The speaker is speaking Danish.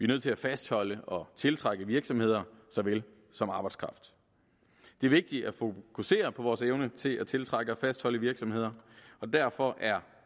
nødt til at fastholde og tiltrække virksomheder såvel som arbejdskraft det er vigtigt at fokusere på vores evne til at tiltrække og fastholde virksomheder og derfor er